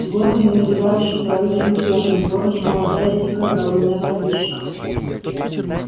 в городе назревающий прорыв инферно в городе молодая дикая голодная вампирша